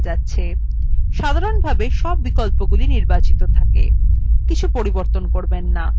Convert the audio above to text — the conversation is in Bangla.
সাধারনভাবে সব বিকল্পগুলি নির্বাচিত থাকে কিছু পরিবর্তন করবেন না